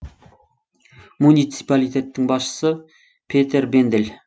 муниципалитеттің басшысы петер бендель